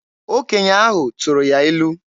Okenye ahụ tụrụ ya ilu.